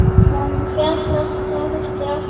Hún féll eftir átta mánuði.